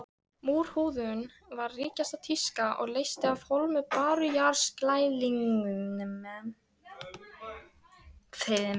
Múrhúðun var ríkjandi tíska og leysti af hólmi bárujárnsklæðningu.